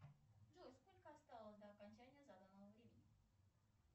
джой сколько осталось до окончания заданного времени